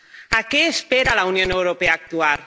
¿A qué espera la Unión Europea para actuar?